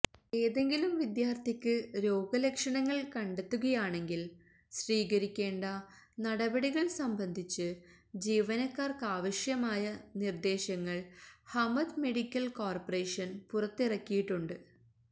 ഏതെങ്കിലും വിദ്യാർഥിക്ക് രോഗലക്ഷണങ്ങൾ കണ്ടെത്തുകയാണെങ്കിൽ സ്വീകരിക്കേണ്ട നടപടികൾ സംബന്ധിച്ച് ജീവനക്കാർക്കാവശ്യമായ നിർദേശങ്ങൾ ഹമദ് മെഡിക്കൽ കോർപറേഷൻ പുറത്തിറക്കിയിട്ടുണ്ട്